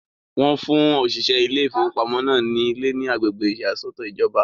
Wọ́n fún òṣìṣẹ́ ilé ìfowópamọ́ náà ní ilé ní agbègbè ìyàsọ́tọ̀ ìjọba.